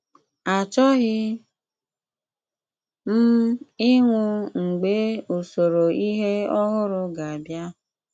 Achọghị m ịnwụ mgbe usoro ihe ọhụrụ ga-abịa.